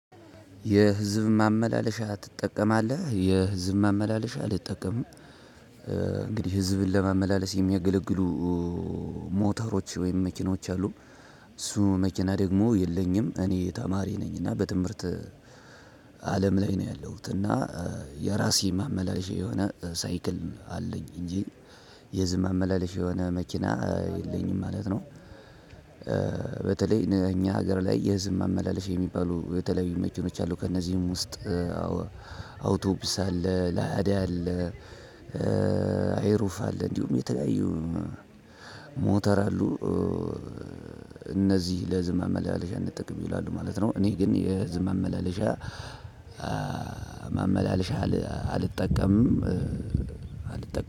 የህዝብ ማመላለሻ ትጠቀማለህ? የህዝብ ማመላለሻ ልጠቀም እንግዲህ ህዝብን ለመመላለስ የሚያገለግሉ ሞተሮች ወይም መኪኖች አሉ። እሱ መኪና ደግሞ የለኝም። እኔ ተማሪ ነኝ እና በትምህርት አለም ላይ ነው ያለሁት፣ እና የራሴ ማመላለሽ የሆነ ሳይክል አለኝ እንጂ የህዝብ ማመላለሽ የሆነ መኪና የለኝም ማለት ነው። በተለይ እኛ ሀገር ላይ የህዝብ መመላለሽ የሚባሉ የተለያዩ መኪኖች አሉ። ከእነዚህም ውስጥ አዎ አውቶቡስ አለ፣ ላዳ አለ፣ አይሩፍ አለ፣ እንዲሁም የተለያዩ ሞተር አሉ እነዚህ ለህዝብ ማመላለሻ ይጠቀማሉ ይላሉ ማለት ነው እኔ ግን የህዝብ መመላለሻ መመላለሻ አልጠቀምም አልጠቀምም